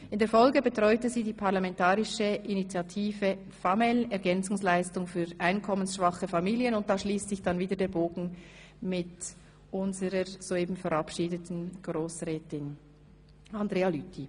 In der Folge betreute sie die parlamentarische Initiative FamEl – Ergänzungsleistungen für einkommensschwache Familien, und da schliesst sich der Bogen wieder mit unser soeben verabschiedeten Grossrätin Andrea Lüthi.